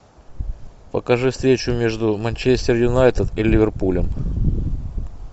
покажи встречу между манчестер юнайтед и ливерпулем